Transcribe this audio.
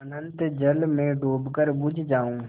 अनंत जल में डूबकर बुझ जाऊँ